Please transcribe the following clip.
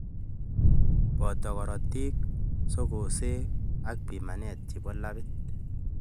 Poto korotik, sukusek ak pimanet chebo lab